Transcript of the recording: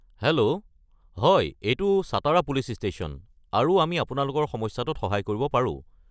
Hello, হয় এইটো Satara police station আৰু আমি আপোনালোকৰ সমস্যাটোত সহায় কৰিব পাৰো।